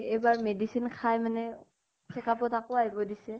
এইবাৰ medicine খাই মানে, cheek up ত আকৌ আহিব দিছে ।